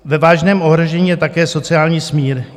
Ve vážném ohrožení je také sociální smír.